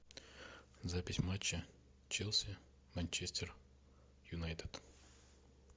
запись матча челси манчестер юнайтед